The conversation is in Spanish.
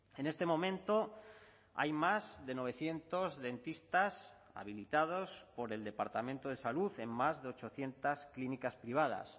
en este momento hay más de novecientos dentistas habilitados por el departamento de salud en más de ochocientos clínicas privadas